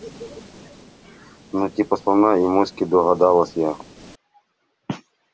ну типа слона и моськи догадалась я